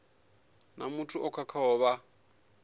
na muthu o khakhaho vha